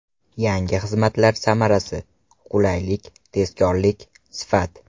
Yangi xizmatlar samarasi: qulaylik, tezkorlik, sifat.